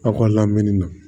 Aw ka lamini na